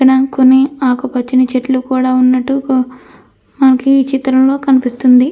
ఇక్కడ కొన్ని ఆకుపచ్చని చెట్లు కూడా ఉన్నట్టు మనకు ఈ చిత్రంలో కనిపిస్తుంది.